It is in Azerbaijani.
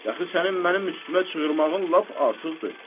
Dəxi sənin mənim üstümə çığırmağın lap artıqdır.